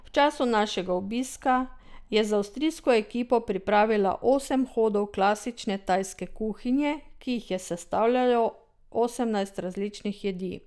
V času našega obiska je z avstrijsko ekipo pripravila osem hodov klasične tajske kuhinje, ki jih je sestavljalo osemnajst različnih jedi.